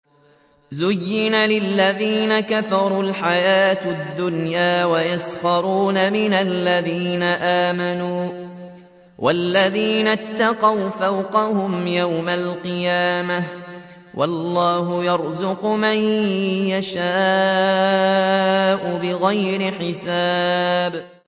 زُيِّنَ لِلَّذِينَ كَفَرُوا الْحَيَاةُ الدُّنْيَا وَيَسْخَرُونَ مِنَ الَّذِينَ آمَنُوا ۘ وَالَّذِينَ اتَّقَوْا فَوْقَهُمْ يَوْمَ الْقِيَامَةِ ۗ وَاللَّهُ يَرْزُقُ مَن يَشَاءُ بِغَيْرِ حِسَابٍ